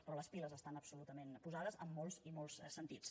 però les piles estan absolutament posades en molts i molts sentits